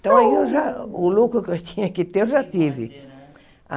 Então aí eu já o lucro que eu tinha que ter eu já tive.